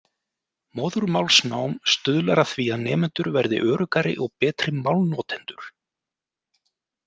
Móðurmálsnám stuðlar að því að nemendur verði öruggari og betri málnotendur.